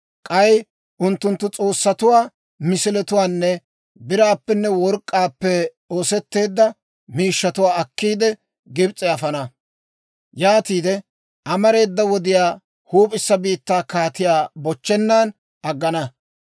K'ay unttunttu s'oossatuwaa, misiletuwaanne biraappenne work'k'aappe oosetteedda miishshatuwaa akkiide, Gibs'e afana. Yaatiide amareeda wodiyaw huup'issa biittaa kaatiyaa bochchennan aggana.